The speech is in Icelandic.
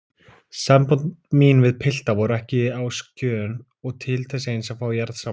Sambönd mín við pilta voru ekki á skjön og til þess eins að fá jarðsamband.